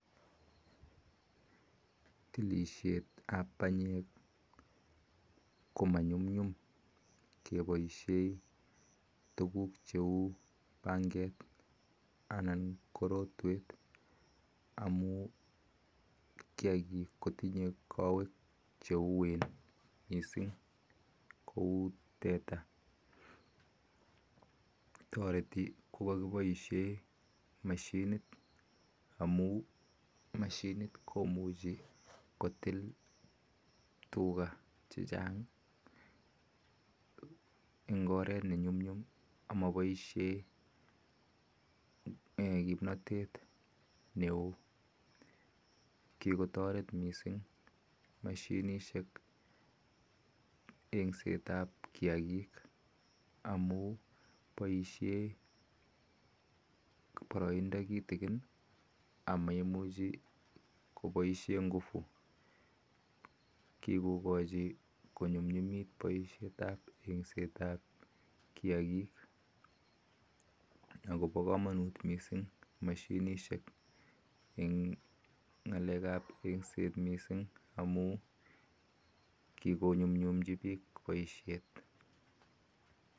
Tilisheet ap panyeek ko manyumnyum kepaisheii tuguuk cheuu pangeet anan korotweet amun kiakiik kotinyee kawek cheun missing kou tuga kipaishen mashinit amun mashinit ko makipaisheen kimnatete neoo misssing kipaisheeen paraindaa kitikin kikokachiii mashinisheek eng ngaleek ap engseet amun kikonyumnyum poishet